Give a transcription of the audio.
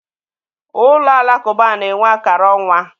Ụlọ alakụba na-enwe akara ọnwa.